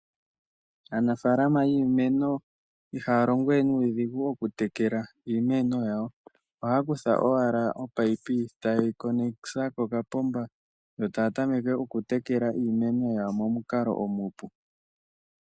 Aanafalama yiimeno ihaya longo we nuudhigu moku tekela iimeno yawo, ohaya kutha ominino ta yeyi tula kokapomba, yo taya tameke oku tekela iimeno yawo momukalo omupu.